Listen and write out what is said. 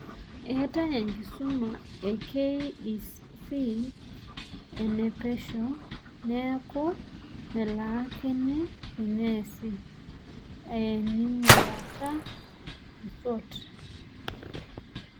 Entaa enkisuma e KEC enepesho neaku melaakini teneasi ening'urata e SWOT.